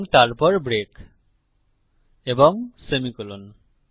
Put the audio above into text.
এবং তারপর ব্রেক এবং সেমি কোলন